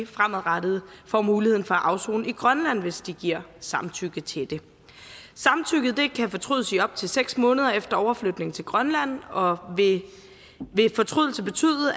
fremadrettet får muligheden for at afsone i grønland hvis de giver samtykke til det samtykket kan fortrydes i op til seks måneder efter overflytning til grønland og vil ved fortrydelse betyde